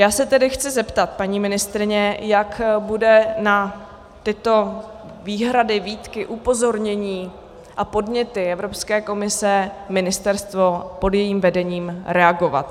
Já se tedy chci zeptat paní ministryně, jak bude na tyto výhrady, výtky, upozornění a podněty Evropské komise ministerstvo pod jejím vedením reagovat.